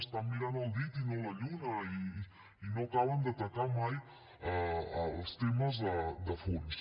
estan mirant el dit i no la lluna i no acaben d’atacar mai els temes de fons